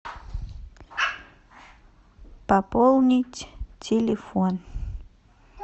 пополнить телефон